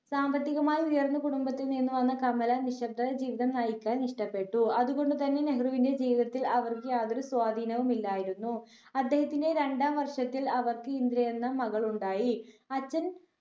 സാമ്പത്തികമായി ഉയർന്ന കുടുംബത്തിൽ നിന്ന് വന്ന കമല നിശബ്ദ ജീവിതം നയിക്കാൻ ഇഷ്ടപ്പെട്ടു അതുകൊണ്ട് തന്നെ നെഹ്‌റുവിന്റെ ജീവിതത്തിൽ അവർക്ക് യാതൊരു സ്വാധീനവും ഇല്ലായിരുന്നു അദ്ദേഹത്തിന്റെ രണ്ടാം വർഷത്തിൽ അവർക്ക് ഇന്ദിര എന്ന മകൾ ഉണ്ടായി അച്ഛൻ